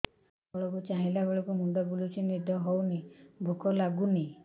ତଳକୁ ଚାହିଁଲା ବେଳକୁ ମୁଣ୍ଡ ବୁଲୁଚି ନିଦ ହଉନି ଭୁକ ଲାଗୁନି